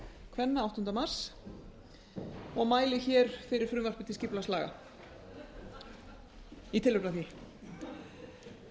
kvenna áttunda mars og mæli hér fyrir frumvarpi til skipulagslaga í tilefni af því